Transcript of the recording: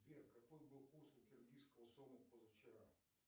сбер какой был курс у киргизского сома позавчера